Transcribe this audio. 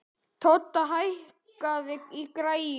Todda, hækkaðu í græjunum.